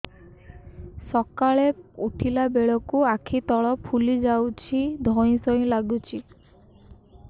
ସକାଳେ ଉଠିଲା ବେଳକୁ ଆଖି ତଳ ଫୁଲି ଯାଉଛି ଧଇଁ ସଇଁ ଲାଗୁଚି